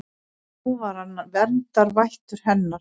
Nú var hann verndarvættur hennar.